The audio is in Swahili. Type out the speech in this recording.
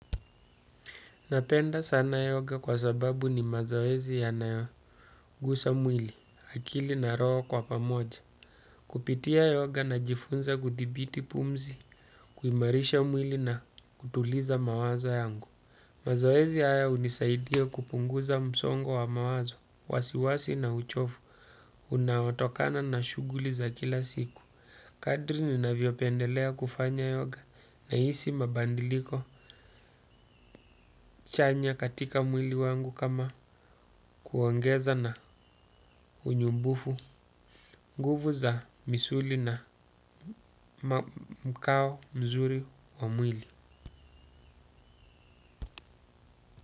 Napenda sana yoga kwa sababu ni mazoezi ya nayoguza mwili, akili na roho kwa pamoja. Kupitia yoga na jifunza kudhibiti pumzi, kuimarisha mwili na kutuliza mawazo yangu. Mazoezi haya hunisaidia kupunguza msongo wa mawazo, wasiwasi na uchovu, unaotokana na shughuli za kila siku. Kadri ninavyopendelea kufanya yoga nahisi mabadiliko chanya katika mwili wangu kama kuongeza na unyumbufu nguvu za misuli na mkao mzuri wa mwili.